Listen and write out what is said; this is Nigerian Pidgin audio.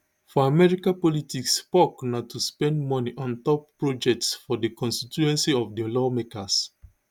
for america politics pork na to spend moni on top projects for di constituencies of di lawmakers